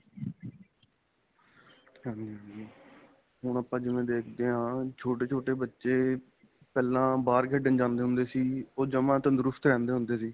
ਹਾਂਜੀ ਹਾਂਜੀ ਹੁਣ ਆਪਾਂ ਜਿਵੇਂ ਦੇਖਦੇ ਹਾਂ ਛੋਟੇ ਛੋਟੇ ਬੱਚੇ ਪਹਿਲਾਂ ਬਹਾਰ ਖੇਡਣ ਜਾਂਦੇ ਹੁੰਦੇ ਸੀ ਉਹ ਜਮਾਂ ਤੰਦਰੁਸਤ ਰਹਿੰਦੇ ਹੁੰਦੇ ਸੀ